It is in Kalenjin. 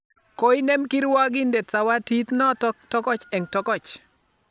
Koinem kirwagindet zawadit notok tokch eng' tokoch